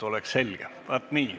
Vaat nii.